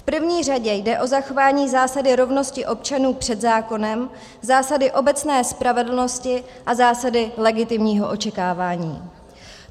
V první řadě jde o zachování zásady rovnosti občanů před zákonem, zásady obecné spravedlnosti a zásady legitimního očekávání.